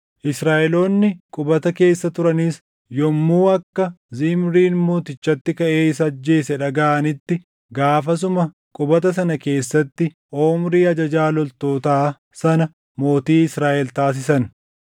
Israaʼeloonni qubata keessa turanis yommuu akka Zimriin mootichatti kaʼee isa ajjeese dhagaʼanitti gaafasuma qubata sana keessatti Omrii ajajaa loltootaa sana mootii Israaʼel taasisan.